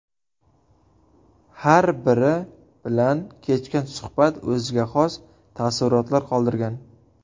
Har biri bilan kechgan suhbat o‘ziga xos taassurotlar qoldirgan.